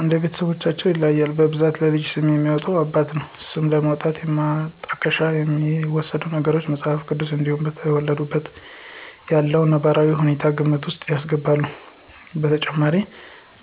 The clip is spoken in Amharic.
እንደ ቤተስቦቻቸው ይለያያል በብዛት ለልጅ ስም የሚያወጣ አባት ነው። ስም ለማውጣት የማጣቀሻ የሚወስዱት ነገሮች:- መጽሐፍ ቅዱስ እንዲሁም በተወለደችበት ያለውን ነባራዊ ሁኔታ ግምት ውስጥ ያስገባሉ። በተጨማሪ